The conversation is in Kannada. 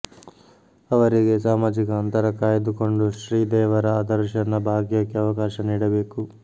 ಅವರಿಗೆ ಸಾಮಾಜಿಕ ಅಂತರ ಕಾಯ್ದು ಕೊಂಡು ಶ್ರೀ ದೇವರ ದರುಶನ ಭಾಗ್ಯಕ್ಕೆ ಅವಕಾಶ ನೀಡಬೇಕು